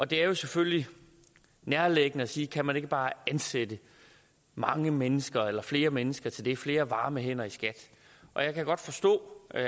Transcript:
det er selvfølgelig nærliggende at sige kan man ikke bare ansætte mange mennesker eller flere mennesker til det flere varme hænder i skat og jeg kan godt forstå at